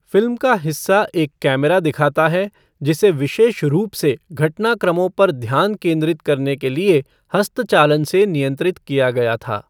Film का हिस्सा एक कैमरा दिखाता है, जिसे विशेष रूप से घटनाक्रमों पर ध्यान केंद्रित करने के लिए हस्तचालन से नियंत्रित किया गया था।